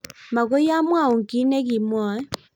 Mokoi amwaun kiy nekimwoe.